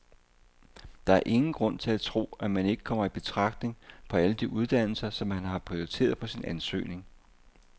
Der er ingen grund til at tro, at man ikke kommer i betragtning på alle de uddannelser, som man har prioriteret på sin ansøgning.